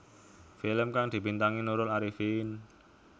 Film kang dibintangi Nurul Arifin